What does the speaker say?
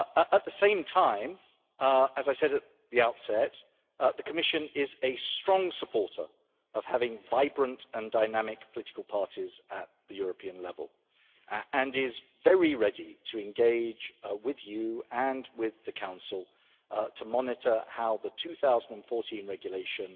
At the same time, as I said at the outset, the Commission is a strong supporter of having vibrant and dynamic political parties at the European level and is very ready to engage with you and with the Council to monitor how the 2014 regulation